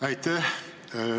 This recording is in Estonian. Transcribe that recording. Aitäh!